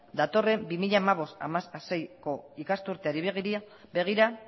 datorren bi mila hamabost bi mila hamaseiko ikasturteari begira